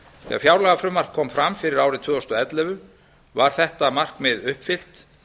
er fjárlagafrumvarp kom fram fyrir árið tvö þúsund og ellefu var þetta markmið uppfyllt